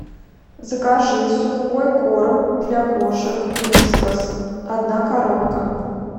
закажи сухой корм для кошек вискас одна коробка